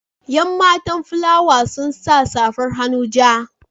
Yan matan fulawa sun sa safar hannu ja.